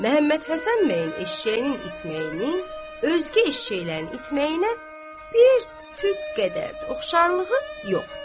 Məhəmmədhəsən bəyin eşşəyinin itməyini, özgə eşşəklərin itməyinə bir tük qədər də oxşarlığı yox.